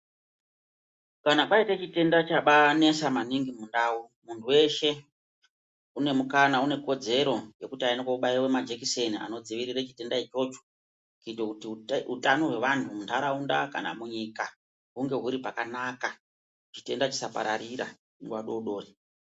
Kana paita chitenda chabanesa maningi mundau muntu weshe unemukanwa une kodzero yekuti aende koobaiwa majikiseni anodzivirira chitenda ichocho, kuita kuti utano hwemuntu muntaraunda kana munyika hunge huri pakanaka chitenda chisapararira nguwa dodori.